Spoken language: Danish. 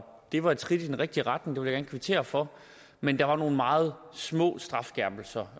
det var et skridt i den rigtige retning det vil jeg gerne kvittere for men der var nogle meget små strafskærpelser